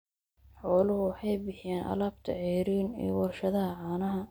Xooluhu waxay bixiyaan alaabta ceeriin ee warshadaha caanaha.